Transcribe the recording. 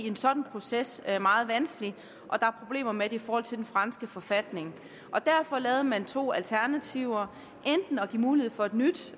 en sådan proces meget vanskelig og der er problemer med det i forhold til den franske forfatning derfor lavede man to alternativer enten at give mulighed for et nyt